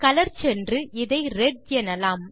colour சென்று அதை red எனலாம்